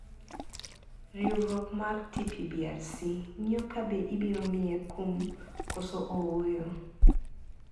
Riwruok mar TPBRC ng`iyo ka be ibiro miye kum koso ooyo.